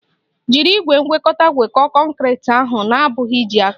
Jiri igwe ngwekọta ngwekọọ kọnkriti ahụ na-abụghị iji aka!